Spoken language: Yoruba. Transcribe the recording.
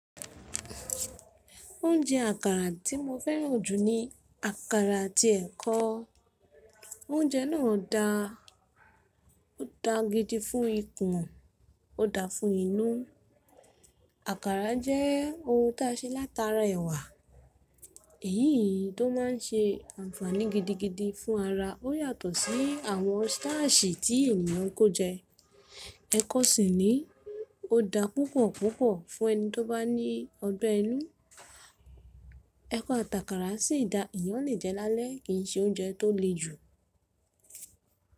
Oúnjẹ àkàrà tí mo fẹ́ràn jù ni àkàrà àti ẹ̀kọ. Oúnjẹ náà da, ó da gidi fún ikùn, ó da fún inú. Àkàrà jẹ́ ohun ta ṣe látara ẹ̀wà, èyí tó má ń ṣe ànfàní gidigidi fún ara. Ó yàtọ̀ sí àwọn stashi tí ènìyàn n kó jẹ. Ẹ̀kọ sì ni ó da púpọ̀ púpọ̀ fún ẹni tó bá ní ọgbẹ́ inú. Ẹ̀kọ̀ àtàkàrà sì da eyàn lé jẹ lálẹ́ kìí ṣe oúnjẹ tó le jù.